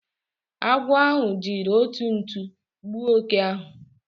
Agwo ahu jiri otu ntu gbuo oke ahu